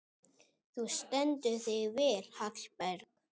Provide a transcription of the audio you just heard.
Þú stendur þig vel, Hallberg!